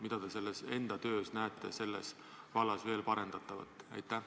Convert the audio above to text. Mida teie enda töös selles vallas võiks parandada?